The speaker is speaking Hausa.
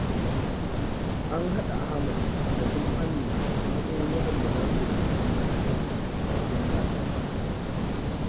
An haɗa Ahmad da Kuma Amina a matsayin waɗanda za su wakilci makarantar a wajen gasar.